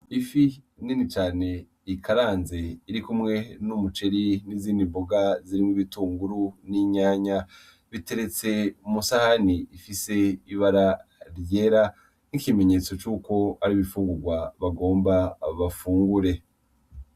Ifi nini cane rikaranze irikumwe n'umuceri n'izindi mboga zirimw'ibitunguru n'inyanya .Biteretse mw'isahani rifise ibara ryera , nk'ikimenyetso cuko ar'imfungurwa bagira bafungure .